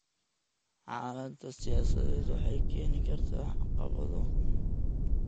Xaaladda siyaasadeed waxay keeni kartaa caqabado.